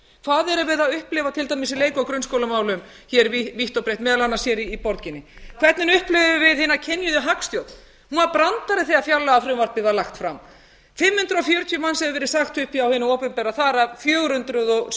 hvað erum við að upplifa til dæmis í leik og grunnskólamálum hér vítt og breitt meðal annars hér í borginni hvernig upplifum við hina kynjuðu hagstjórn hún var brandari þegar fjárlagafrumvarpið var lagt fram fimm hundruð fjörutíu manns hefur verið sagt upp hjá hinu opinbera þar af fjögur hundruð